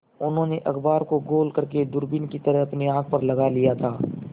उन्होंने अखबार को गोल करने दूरबीन की तरह अपनी आँख पर लगा लिया था